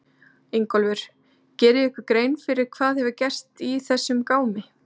Ingólfur: Gerið þið ykkur grein hvað gerst hefur í þessum gámi?